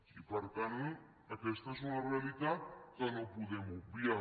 i per tant aquesta és una realitat que no podem obviar